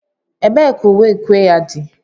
Ebee ka uwe ukwe ya dị?